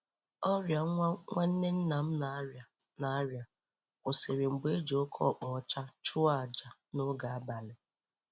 Ọrịa nwa nwanne nna m na-arịa na-arịa kwụsịrị mgbe e ji oke ọkpa ọcha chụọ aja n'oge abalị